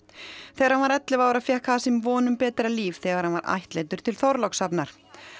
þegar hann var ellefu ára fékk von um betra líf þegar hann var ættleiddur til Þorlákshafnar